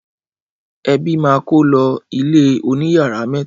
Ẹbí máa kó lọ ilé oníyàrá mẹ́ta.